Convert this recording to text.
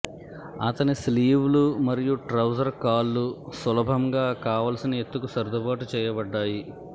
అతని స్లీవ్లు మరియు ట్రౌజర్ కాళ్ళు సులభంగా కావలసిన ఎత్తుకు సర్దుబాటు చేయబడ్డాయి